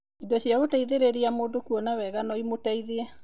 Indo cia gũteithĩrĩria mũndũ kuona wega no imũteithie.